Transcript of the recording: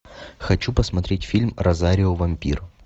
хочу посмотреть фильм розарио вампир